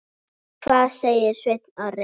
En hvað segir Sveinn Orri?